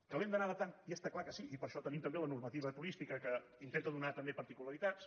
que l’hem d’anar adaptant i està clar que sí i per això tenim també la normativa turística que intenta donar també particularitats